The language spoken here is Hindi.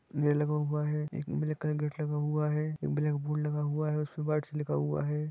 एक ब्लैक लगा हुआ है एक ब्लैक बोर्ड लगा हुआ है बर्ड लिखा हुआ है ।